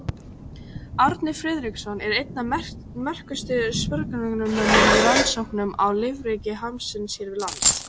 Árni Friðriksson er einn af merkustu sporgöngumönnum í rannsóknum á lífríki hafsins hér við land.